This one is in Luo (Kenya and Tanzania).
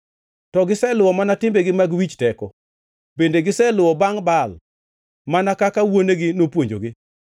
To giseluwo mana timbegi mag wich teko; bende giseluwo bangʼ Baal, mana kaka wuonegi nopuonjogi.”